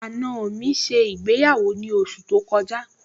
àna mi ṣe ìgbéyàwó ní oṣù tó kọjá